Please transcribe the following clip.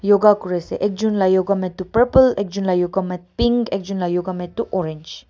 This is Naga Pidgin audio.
yoga kuri ase ekjon lah yoga mai toh purple ekjon lah yoga mai pink ekjon lah yoga mai toh orange .